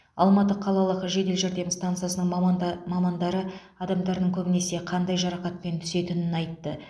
алматы қалалық жедел жәрдем стансасының маманда мамандары адамдардың көбінесе қандай жарақатпен түсетінін айтты